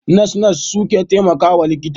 Nas-nas su suke taimakawa likita.